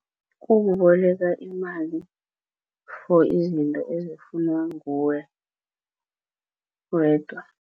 Kukuboleka imali for izinto ezifunwa nguwe wedwa.